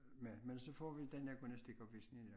Men men så får vi den der gymnastikopvisning med